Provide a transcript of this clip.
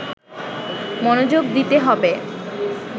মনোযোগ দিতে হবে